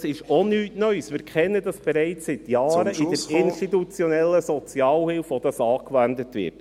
Dies ist nichts Neues, wir kennen dies bereits seit Jahren in der institutionellen Sozialhilfe, in der dies angewandt wird.